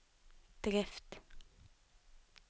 drift